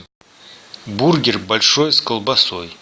бургер большой с колбасой